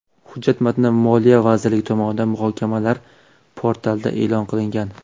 Hujjat matni Moliya vazirligi tomonidan muhokamalar portalida e’lon qilingan.